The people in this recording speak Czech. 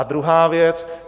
A druhá věc.